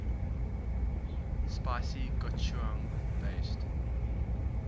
spicy gochujang based